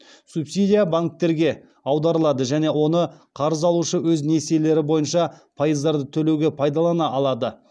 субсидия банктерге аударылады және оны қарыз алушы өз несиелері бойынша пайыздарды төлеуге пайдалана алады